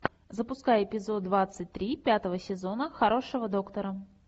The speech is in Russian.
запускай эпизод двадцать три пятого сезона хорошего доктора